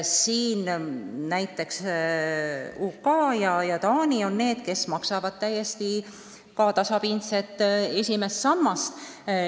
Näiteks Ühendkuningriigid ja Taani maksavad täiesti tasapindset esimest sammast.